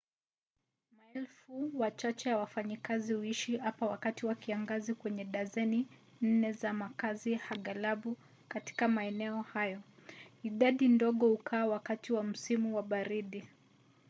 maelfu machache ya wafanyakazi huishi hapa wakati wa kiangazi kwenye dazeni nne za makazi aghalabu katika maeneo hayo; idadi ndogo hukaa wakati wa msimu wa baridi